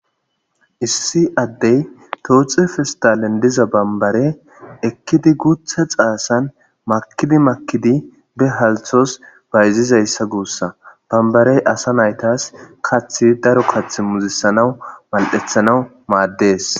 issi addey tooxe fistalen diza bambare ekkidi guthe xaasan makidi makidi be halthos bayzizayssa guussa bambarey asa naytas kathi daro kath muzisanawu mal'ethanaw maaddes